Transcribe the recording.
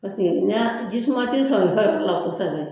Paseke ni y'a ji suma ti sɔrɔ u ka yɔrɔ la kosɛbɛ